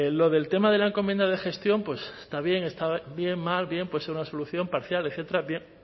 lo del tema de la encomienda de gestión pues está bien está bien mal bien puede ser una solución parcial etcétera bien